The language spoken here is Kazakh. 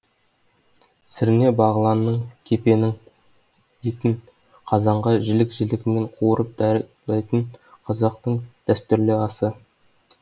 сірне бағланның кепенің етін қазанға жілік жілігімен қуырып даярлайтын қазақтың дәстүрлі асы